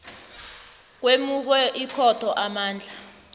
kwemukwe ikhotho amandla